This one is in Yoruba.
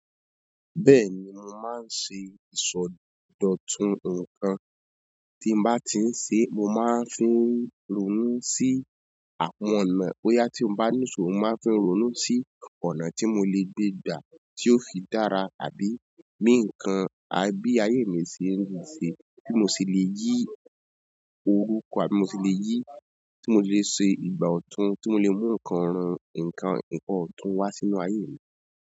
Bẹ́ẹ̀ni, mo máa ń ṣe ìsọdọ̀tun ǹkan tí mo bá ti ń ṣe. Mo máa ń fin rònú sí àwọn ọ̀nà bóyá tí mo bá ní ìṣòro, mo máa ń fi ìrònú sí ọ̀nà tí mo lè gbé gbà tí yóò fi dára àbí bí ǹkan a bi ayé mi ṣe ń ṣe bí mo ṣe lè yí orúkọ àbí mo ṣe lè yí ti mo ṣe lè ṣe ìgbà ọtun tí mo lè mú ǹkan ọtun wá sínú ayé mi.